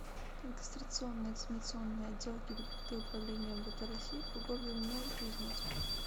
регистрационно экзаменационный отдел гибдд управления мвд россии по г новокузнецку